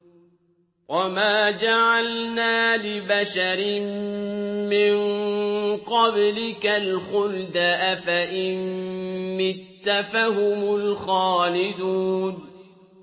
وَمَا جَعَلْنَا لِبَشَرٍ مِّن قَبْلِكَ الْخُلْدَ ۖ أَفَإِن مِّتَّ فَهُمُ الْخَالِدُونَ